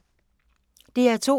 DR2